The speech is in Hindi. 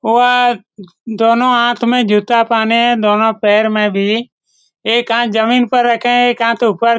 दोनों हाथ में जूता पहने है दोनों पैर में भी एक हाथ जमीन पर रखे है एक हाथ ऊपर --